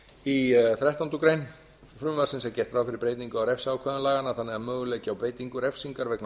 ræða í þrettándu greinar frumvarpsins er er gert ráð fyrir breytingu á refsiákvæðum laganna þannig að möguleiki á beitingu refsingar vegna